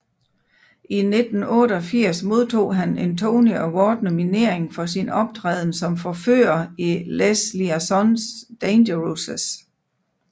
I 1988 modtog han en Tony Award nominering for sin optræden som forfører i Les Liaisons Dangereuses